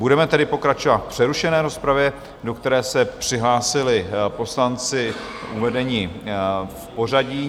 Budeme tedy pokračovat v přerušené rozpravě, do které se přihlásili poslanci uvedení v pořadí.